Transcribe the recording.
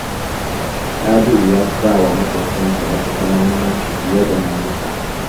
Sabi'u ya fi ba wa maƙotansa na kusa muhimmanci fiye da na nesa